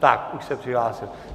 Tak, už se přihlásil.